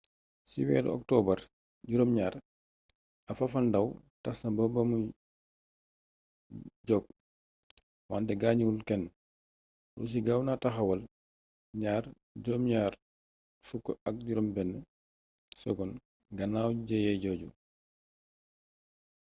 ci weeru okotobar7 ab fafalndaaw tas na bamuy jóg wante gaañul kenn russi gaaw na taxawal ii-76s gannaaw jëye jooju